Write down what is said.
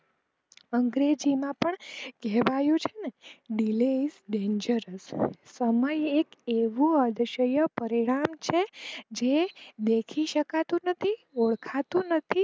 અંગ્રેજી પણ માં કહેવાયું છે delays dengours સમય એક એવું અદ્યશ્યન પરિણામ છે જે દેખી શકાતું નથી ઓળખાતું નથી.